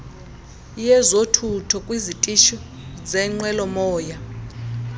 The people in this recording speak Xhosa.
yezothutho kwizitishi zenqwelomoya